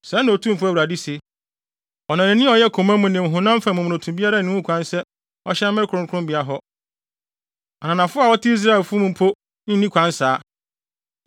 Sɛɛ na Otumfo Awurade se: Ɔnanani a ɔyɛ koma mu ne honam fam momonoto biara nni kwan sɛ ɔhyɛn me kronkronbea hɔ, ananafo a wɔte Israelfo mu mpo nni kwan saa.